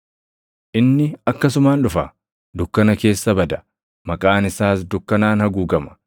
Inni akkasumaan dhufa; dukkana keessa bada; maqaan isaas dukkanaan haguugama.